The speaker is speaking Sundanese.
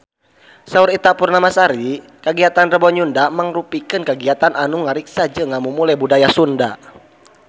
Saur Ita Purnamasari kagiatan Rebo Nyunda mangrupikeun kagiatan anu ngariksa jeung ngamumule budaya Sunda